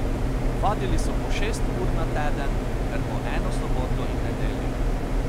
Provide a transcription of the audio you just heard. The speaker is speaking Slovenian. Vadili so po šest ur na teden ter po eno soboto in nedeljo.